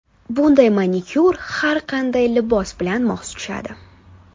Bunday manikyur har qanday libos bilan mos tushadi.